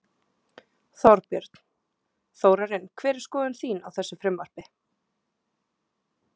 Þorbjörn: Þórarinn hver er skoðun þín á þessu frumvarpi?